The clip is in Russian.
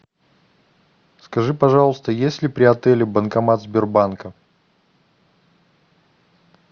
скажи пожалуйста есть ли при отеле банкомат сбербанка